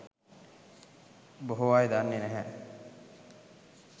බොහෝ අය දන්නේ නැහැ.